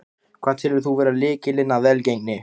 Hvað telur þú vera lykilinn að velgengninni?